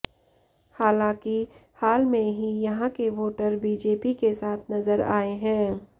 हालांकि हाल में ही यहां के वोटर बीजेपी के साथ नजर आए हैं